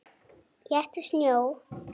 Éttu snjó.